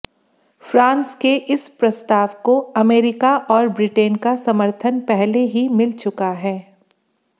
France के इस प्रस्ताव को अमेरिका और ब्रिटेन का समर्थन पहले ही मिल चुका है